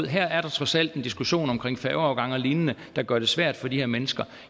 her er der trods alt en diskussion om færgeafgange og lignende der gør det svært for de her mennesker